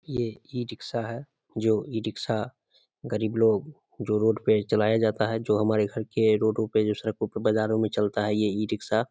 ये ई-रिक्शा है जो ई-रिक्शा गरीब लोग जो रोड पे चलाया जाता है जो हमारे घर के रोडों पे जो सड़कों के बजारों में चलता है ये ई-रिक्शा |